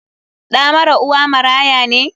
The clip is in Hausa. Ɗa mara uwa maraya ne?